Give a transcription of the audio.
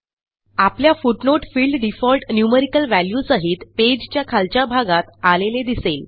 आपल्या footnote field default numerical value सहित page च्या खालच्या भागात आलेले दिसेल